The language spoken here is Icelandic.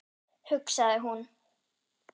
hugsaði hún.